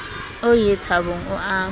o ie thabong o a